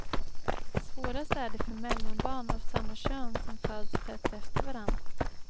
Svårast är det för mellanbarn av samma kön som föds tätt efter varann.